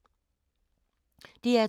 DR2